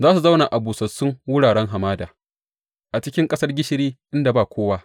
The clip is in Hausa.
Za su zauna a busassun wuraren hamada, a cikin ƙasar gishiri inda ba kowa.